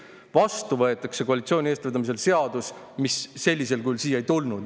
Vastu aga võetakse koalitsiooni eestvedamisel seadus, mis sellisel kujul siia ei tulnud.